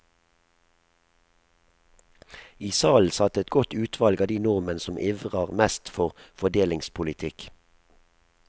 I salen satt et godt utvalg av de nordmenn som ivrer mest for fordelingspolitikk.